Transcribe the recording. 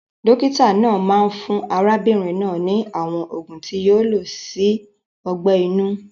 Dókítà náà máa fún arábínrin náà ni àwon ògùn ti yio lo si ogbẹ̀ inú